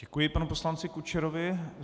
Děkuji panu poslanci Kučerovi.